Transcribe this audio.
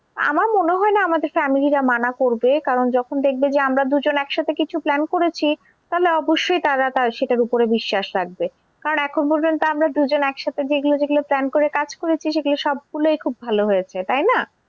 আমার মনে হয়না আমাদের family রা মানা করবে কারণ যখন দেখবে যে আমরা দুজন একসাথে কিছু plan করেছি তাহলে অবশ্যই তারা সেটার উপরে বিশ্বাস রাখবে। কারণ এখনো পর্যন্ত আমরা দুজন এক সাথে যেগুলো যেগুলো plan করে কাজ করেছি সেগুলো সব গুলোই খুব ভালো হয়েছে তাই না?